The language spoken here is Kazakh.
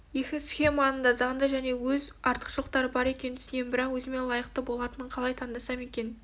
екі схеманың да заңды және өз артықшылықтары бар екенін түсінемін бірақ өзіме лайықты болатынын қалай таңдасам екен